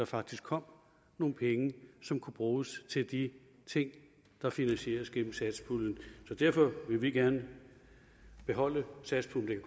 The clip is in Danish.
faktisk kom nogle penge som kunne bruges til de ting der finansieres gennem satspuljen så derfor vil vi gerne beholde satspuljen